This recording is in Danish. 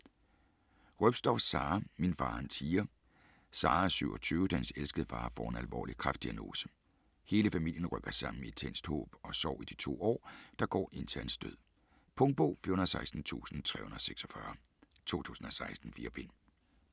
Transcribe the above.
Roepstorff, Sara: Min far er en tiger Sara er 27, da hendes elskede far får en alvorlig kræftdiagnose. Hele familien rykker sammen i intenst håb og sorg i de to år, der går indtil hans død. Punktbog 416346 2016. 4 bind.